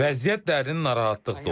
Vəziyyət dərin narahatlıq doğurur.